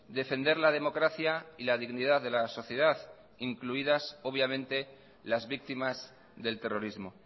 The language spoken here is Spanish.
defender la democracia y la dignidad de la sociedad incluidas obviamente las víctimas del terrorismo